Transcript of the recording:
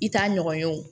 I t'a ɲɔgɔn ye wo